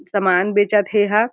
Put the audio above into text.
समान बेचत हे ये ह--